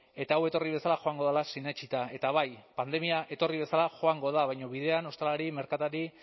eta hau etorri bezala joango dela sinetsita eta bai pandemia etorri bezala joango da baina bidean ostalari merkatari